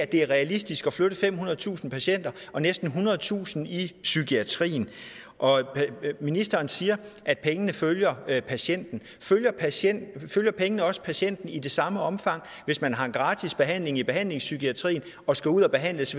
det er realistisk at flytte femhundredetusind patienter og næsten ethundredetusind i psykiatrien ministeren siger at pengene følger patienten følger patienten følge pengene også patienten i det samme omfang hvis man har en gratis behandling i behandlingspsykiatrien og skal ud og behandles